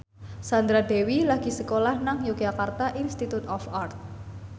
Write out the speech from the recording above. Sandra Dewi lagi sekolah nang Yogyakarta Institute of Art